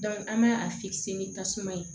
an b'a a ni tasuma ye